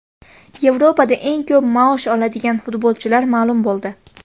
Yevropada eng ko‘p maosh oladigan futbolchilar ma’lum bo‘ldi.